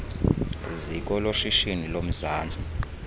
ziko loshishino lomzantsi